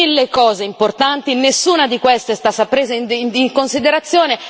detto mille cose importanti, nessuna di queste è stata presa in considerazione.